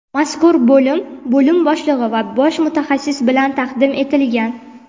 Mazkur bo‘lim bo‘lim boshlig‘i va bosh mutaxassis bilan taqdim etilgan.